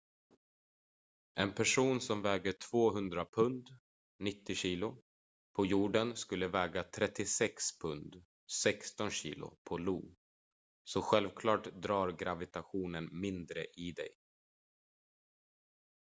en person som väger 200 pund 90 kg på jorden skulle väga 36 pund 16 kg på io. så självklart drar gravitationen mindre i dig